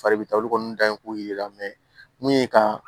Fari bɛ taa olu kɔni da yen k'o yir'i la mɛ mun ye ka